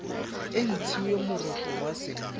e ntshiwe moroto wa senna